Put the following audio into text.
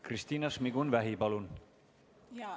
Kristina Šmigun-Vähi, palun!